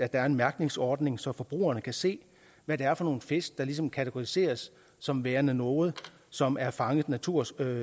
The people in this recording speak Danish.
er en mærkningsordning så forbrugerne kan se hvad det er for nogle fisk der ligesom kategoriseres som værende nogle som er fanget naturskånsomt